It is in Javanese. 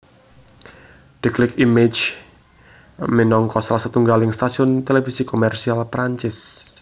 Déclic Images minangka salah satunggaling stasiun televisi komersial Perancis